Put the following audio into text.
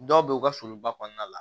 Dɔw be yen u ka foliba kɔnɔna la